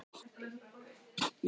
Mér var létt þegar ég lagði tólið á.